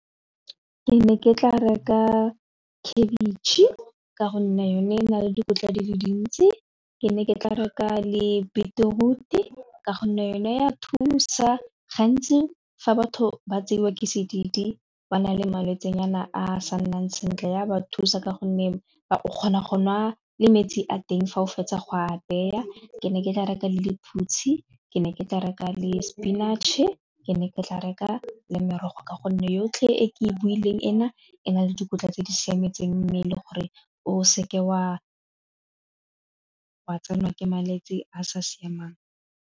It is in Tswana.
Ke ne ke tla reka khabetšhe ka gonne yone e na le dikotla di le dintsi, ke ne ke tla reka le beetroot ka gonne yone ya thusa gantsi fa batho ba tseiwa ke sedidi ka ba na le malwetse nyana a sa nnang sentle ya ba thusa ka gonne o kgona go nwa le metsi a teng fa o fetsa go a beya, ke ne ke tla reka le lephutshi ke ne ke tla reka le spinach-e, ke ne ke tla reka le merogo ka gonne yotlhe e ke e builweng ena e na le dikotla tse di siametseng mmele gore o seke wa tsenwa ke malwetsi a sa siamang.